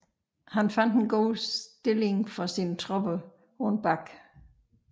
Han fandt en god stilling for sine tropper på en bakke